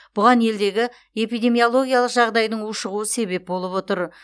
бұған елдегі эпидемиологиялық жағдайың ушығуы себеп болып отыр